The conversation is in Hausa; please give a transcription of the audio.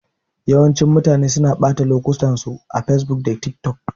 Yawancin mutanen suna ɓata lokutan su a facebook da tik tok